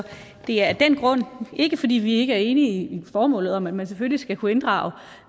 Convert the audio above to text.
det er ikke fordi vi ikke er enige i formålet om at man selvfølgelig skal kunne inddrage